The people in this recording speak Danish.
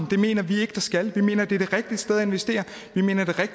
det mener vi ikke der skal vi mener det er det rigtige sted at investere